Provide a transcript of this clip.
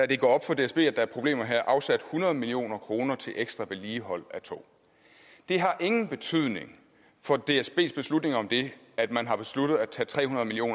det går op for dsb at der er problemer her afsat hundrede million kroner til ekstra vedligehold af tog det har ingen betydning for dsbs beslutning om det at man har besluttet at tage tre hundrede million